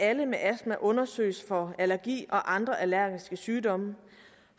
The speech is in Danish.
alle med astma undersøges for allergi og andre allergiske sygdomme